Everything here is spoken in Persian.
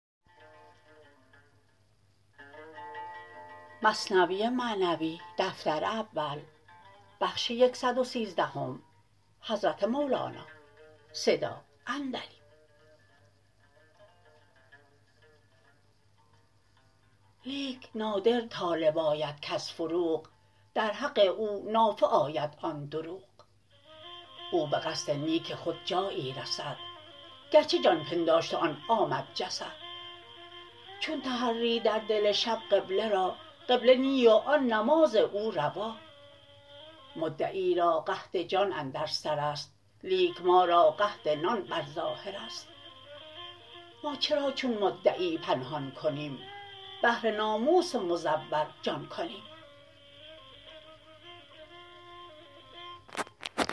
لیک نادر طالب آید کز فروغ در حق او نافع آید آن دروغ او به قصد نیک خود جایی رسد گرچه جان پنداشت و آن آمد جسد چون تحری در دل شب قبله را قبله نی و آن نماز او روا مدعی را قحط جان اندر سرست لیک ما را قحط نان بر ظاهرست ما چرا چون مدعی پنهان کنیم بهر ناموس مزور جان کنیم